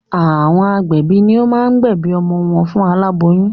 Àwọn agbẹ̀bí ni o máa ń gbẹ̀bí ọmọ fún aláboyún